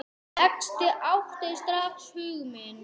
Þetta átti strax hug minn.